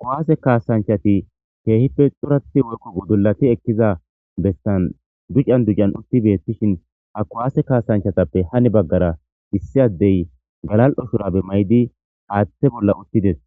Kuwaase kaasanchati keehippe xurathi worko gudulati ekkiza bestan ducan ducan utti beettishin ha kuwaase kaasanchatappe hani baggara issi addey galal7o shurabe may7di haaththe bolla uttides